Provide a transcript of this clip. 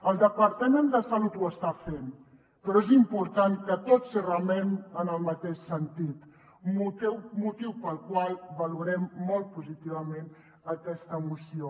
el departament de salut ho està fent però és important que tots remem en el mateix sentit motiu pel qual valorem molt positivament aquesta moció